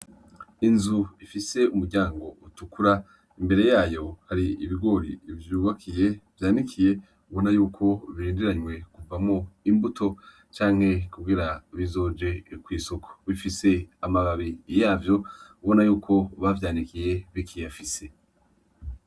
Inzu ifise umuryango utukura imbere yayo hari ibigori vyubakiye vyanikiye ubona yuko birindiranwe kuvamwo imbuto canke kugira bizoje ku isoko bifise amababi yavyo ubona yuko bavyanikiye bikiyafise.